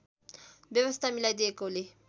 व्यवस्था मिलाइदिएकोले